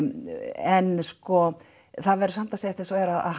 en sko það verður samt að segjast eins og er að